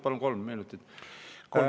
Palun kolm minutit.